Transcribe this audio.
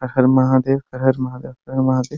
हर हर महादेव हर हर महादेव हर हर महादेव |